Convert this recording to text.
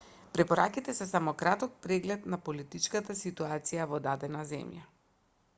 препораките се само краток преглед на политичката ситуација во дадена земја